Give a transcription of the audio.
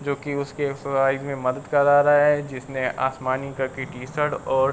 जोकि उसके मदद करा रहा है जिसने आसमानी कलर की टीशर्ट और --